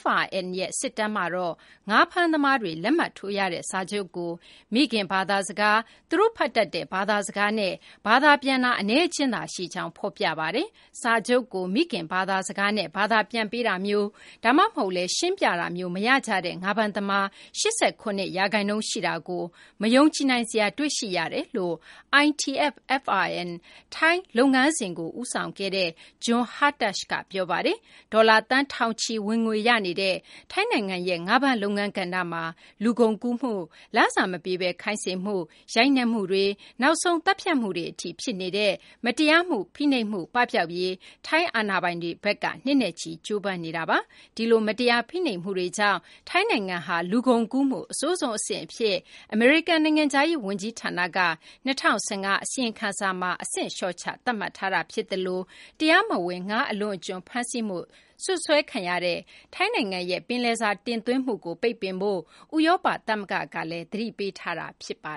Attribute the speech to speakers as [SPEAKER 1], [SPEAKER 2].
[SPEAKER 1] FRN ရဲ့ စစ်တပ်မှာတော့ ငါးဖမ်းသမားတွေ လက်မှတ်ထိုးရတဲ့ စာချုပ်ကို မိခင် ဘာသာစကား သူတို့ ဖတ်တတ်တဲ့ ဘာသာစကားနဲ့ ဘာသာပြန်တာ အနည်းအကျဉ်းသာ ရှိကြောင်း ဖော်ပြထားပါတယ်။ စာချုပ်ကို မိခင် ဘာသာစကားနဲ့ ဘာသာပြန်ပေးတာမျိုး ဒါမှမဟုတ်လည်း ရှင်းပြတာမျိုး မရကြတဲ့ ငါးဖမ်းသမား ၈၇ ရာခိုင်နှုန်း ရှိတာကို မယုံကြည်နိုင်စရာ တွေ့ရှိရတယ်လို့ ITF-FRN ထိုင်း လုပ်ငန်းစဉ်ကို ဦးဆောင်ခဲ့သူ Jon Hartough က ပြောပါတယ်။ ဒေါ်လာ သန်း ထောင်ချီ ဝင်ငွေ ရနေတဲ့ ထိုင်းနိုင်ငံရဲ့ ငါးဖမ်း လုပ်ငန်းကဏ္ဍမှာ လူကုန်ကူးမှု၊ လစာ မပေးဘဲ ခိုင်းစေမှု၊ ရိုက်နှက်မှုတွေ၊ နောက်ဆုံး သတ်ဖြတ်မှုတွေ အထိ ဖြစ်နေတဲ့ မတရားဖိနှိပ်မှုတွေ ပပျောက်ရေး အတွက် ထိုင်း အာဏာပိုင်တွေဘက်က နှစ်နဲ့ချီ ကြိုးပမ်းနေတာပါ။ ဒီလို မရားဖိနှိပ်မှုတွေကြောင့်လည်း ထိုင်းနိုင်ငံဟာ လူကုန်ကူးမှု အဆိုးဆုံး အဆင့် အဖြစ် အမေရိကန် နိုင်ငံခြားရေး ဝန်ကြီးဌာနက ၂၀၁၅ အစီရင်ခံစာမှာ အဆင့် လျှော့ချ သတ်မှတ်ထားတာ ဖြစ်သလို တရားမဝင် ငါးအလွန်အကျွံ ဖမ်းဆီးမှု စွပ်စွဲခံရတဲ့ ထိုင်းနိုင်ငံရဲ့ ပင်လယ်စာ တင်သွင်းမှုကို ပိတ်ပင်ဖို့ ဥရောပ သမဂ္ဂ ကလည်း သတိပေးထားတာ ဖြစ်ပါ